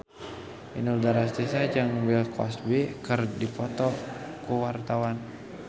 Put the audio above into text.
Inul Daratista jeung Bill Cosby keur dipoto ku wartawan